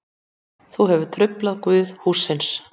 Þú hefur truflað guð hússins.